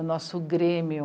O nosso Grêmio,